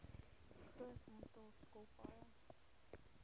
groot aantal skilpaaie